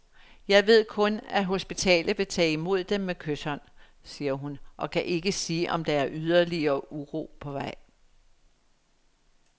Jeg ved kun, at hospitalet vil tage imod dem med kyshånd, siger hun, og kan ikke sige om der er ydeligere uro på vej.